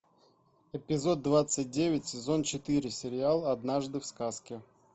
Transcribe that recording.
эпизод двадцать девять сезон четыре сериал однажды в сказке